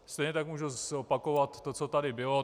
Stejně tak můžu opakovat to, co tady bylo.